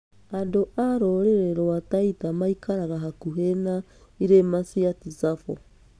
Andũ a rũrĩrĩ rwa Taita maikaraga hakuhĩ na irĩma cia Tsavo.